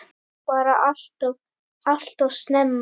Bara alltof, alltof snemma.